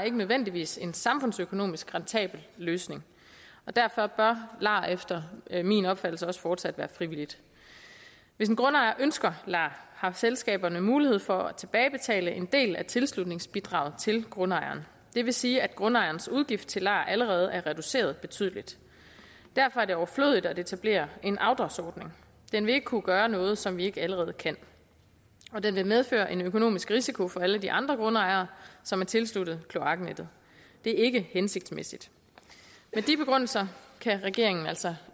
ikke nødvendigvis en samfundsøkonomisk rentabel løsning derfor bør lar efter min opfattelse også fortsat være frivilligt hvis en grundejer ønsker lar har selskaberne mulighed for at tilbagebetale en del af tilslutningsbidraget til grundejeren det vil sige at grundejerens udgift til lar allerede er reduceret betydeligt derfor er det overflødigt at etablere en afdragsordning den vil ikke kunne gøre noget som vi ikke allerede kan og den vil medføre en økonomisk risiko for alle de andre grundejere som er tilsluttet kloaknettet det er ikke hensigtsmæssigt med de begrundelser kan regeringen altså